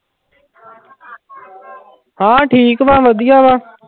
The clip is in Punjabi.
ਹਾਂ ਠੀਕ ਵਾ ਵਧੀਆ ਵਾ।